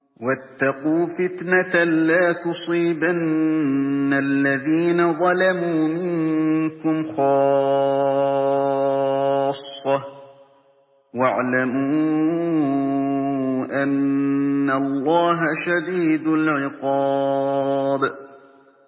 وَاتَّقُوا فِتْنَةً لَّا تُصِيبَنَّ الَّذِينَ ظَلَمُوا مِنكُمْ خَاصَّةً ۖ وَاعْلَمُوا أَنَّ اللَّهَ شَدِيدُ الْعِقَابِ